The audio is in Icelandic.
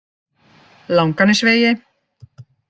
Langanesvegi